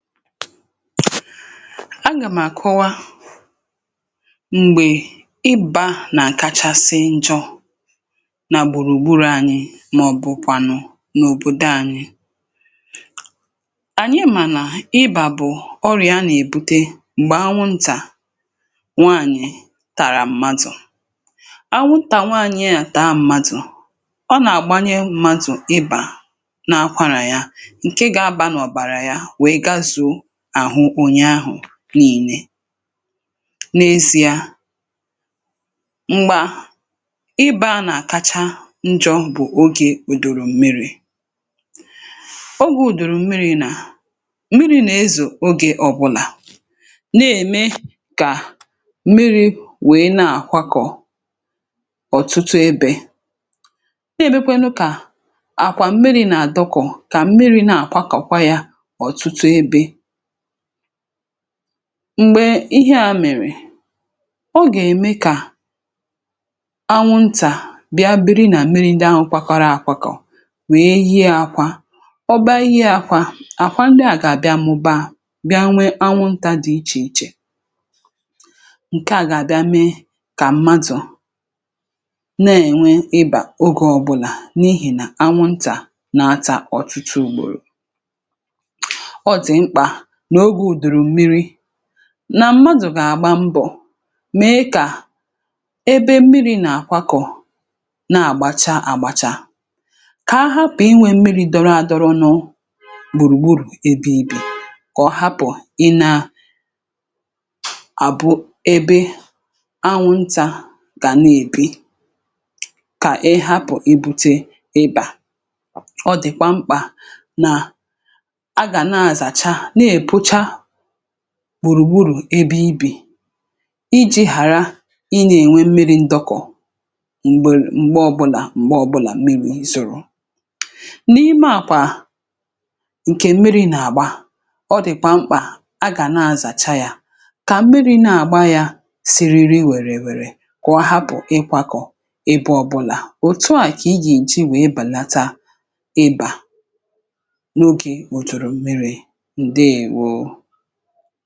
Agà m̀ àkọwa m̀gbè ịbȧ nà kachasị njọ nà gbùrùgburù. Anyị mà ọ̀bụ̀kwànụ̀ n’òbòdo anyị, ànyị mànà ịbà bụ̀ ọrị̀à a nà-èbute m̀gbè anwụntà nwaanyị̀ tàrà m̀madụ̀. um Anwụntà nwaanyị à taa madụ̀, ọ nà-àgbanye madụ̀ ịbà, na-akwara ya ǹkè ga-aba n’ọ̀bàrà ya n’ihìe n’èzi̇ȧ. M̀gbè a, ị bȧȧ nà kacha njọ bụ̀ ogè ùdòrò m̀miri̇, ogè ùdòrò m̀miri̇ nà m̀miri̇ nà-ezù. um Ogè ọbụlà nà-ème kà m̀miri̇ wèe na-àkwakọ ọ̀tụtụ ebė, na-èbekwenu kà àkwà m̀miri̇ nà-àdọkọ, kà m̀miri̇ na-àkwakọ̀kọ̀. Kwa yȧ ọ̀tụtụ ebė m̀gbè ihe a mèrè, ọ gà-ème kà anwụntà bịa biri nà mmiri ǹdị ahụ, kwa kọrọ àkwakọ̀kọ̀, nwèe yi akwȧ, ọ baa ihe yȧ kwȧ àkwa. um Ndị a gà-àbịa mụ̀baa, bịa nwe anwụntȧ dị̇ ichè ichè, ǹke à gà-àbịa mee kà mmadụ̀ na-ènwe ịbà. Ogè ọbụlà n’ihì nà anwụntà nà-atà ọ̀tụtụ ùgbòrò, nà mmadụ̀ gà-àgba mbọ̀ mèe kà ebe mmiri̇ nà àkwakọ̀ na-àgbacha àgbàcha, kà ahapụ̀ inwė mmiri̇ dọrọ adọrọ, nọ gbùrùgburù ebe ibè, kà ọhapụ̀ ị naà àbụ ebe anwụnta gà nà-èbe. Kà ị hapụ̀ i bute ịbà, ọ dị̀kwa mkpà nà gbùrùgburù ebe ibì, iji̇ ghàra ị na-ènwe mmiri ndọkọ̀ m̀gbe ọbụlà. um M̀gbe ọbụlà mmiri zùrù n’ime àkwà ǹkè mmiri nà-àgba, ọ dị̀kwà mkpà a gà na-azàcha yȧ, kà mmiri na-àgba yȧ siriri, wère wère kwàwa, bụ̀ ịkwȧkọ̀ ebe ọbụlà. Òtù à kà i jì ǹji wèe bàlata ịbà n’ogè òtùrù mmiri̇ u̇.